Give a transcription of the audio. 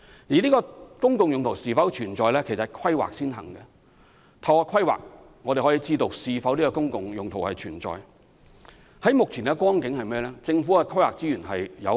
至於公共用途是否存在，則要先透過規劃，才能予以確定。目前而言，政府的規劃資源有限。